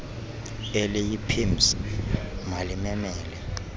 eliyi pims malimemele